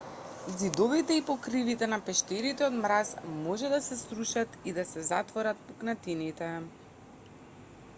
ѕидовите и покривките на пештерите од мраз може да се срушат и да се затворат пукнатините